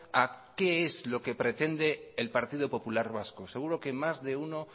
a qué es lo que pretende el partido popular vasco seguro que más de uno